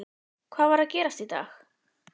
Hvað var að gerast í dag?